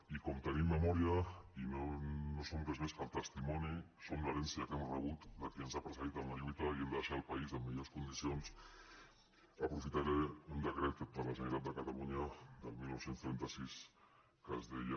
i com tenim memòria i no som res més que el testimoni som l’herència que hem rebut de qui ens ha precedit en la lluita i hem de deixar el país en millors condicions aprofitaré un decret de la generalitat de catalunya del dinou trenta sis que ens deia